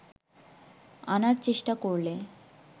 আনার চেষ্টা করলে